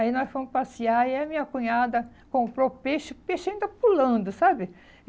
Aí nós fomos passear e a minha cunhada comprou peixe, peixe ainda pulando, sabe?